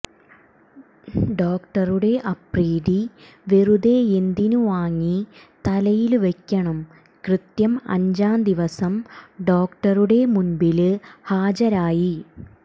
ഡോക്ടറുടെ അപ്രീതി വെറുതെയെന്തിനു വാങ്ങി തലയില് വയ്ക്കണം കൃത്യം അഞ്ചാംദിവസം ഡോക്ടറുടെ മുന്പില് ഹാജരായി